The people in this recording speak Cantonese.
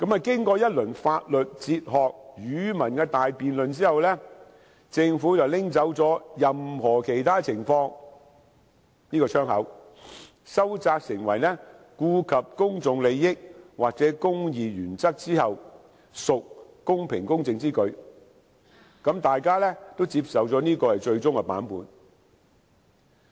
經過一輪法律、哲學、語文的大辯論後，政府便刪去"一切有關情況下"這個窗口，收窄成為："顧及公眾利益或公義原則之後，屬公平公正之舉"，大家便接受這是最終版本。